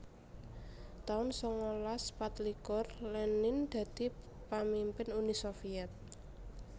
taun sangalas patlikur Lenin dadi pamimpin Uni Soviet